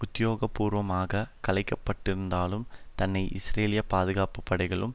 உத்தியோகபூர்வமாக கலைக்கப்பட்டிருந்தாலும் தன்னை இஸ்ரேலிய பாதுகாப்பு படைகளுள்